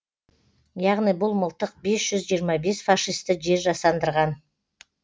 яғни бұл мылтық бес жүз жиырма бес фашисті жер жастандырған